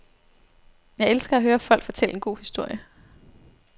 Jeg elsker at høre folk fortælle en god historie.